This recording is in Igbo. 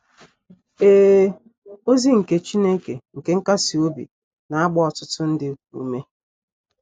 Ee, ozi nke ‘ Chineke nke nkasi obi ’ na - agba ọtụtụ ndị ume.